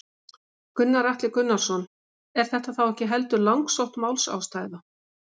Gunnar Atli Gunnarsson: Er þetta ekki heldur langsótt málsástæða?